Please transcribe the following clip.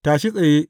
Tashi tsaye!